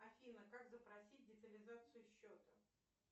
афина как запросить детализацию счета